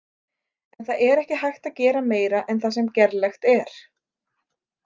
En það er ekki hægt að gera meira en það sem gerlegt er.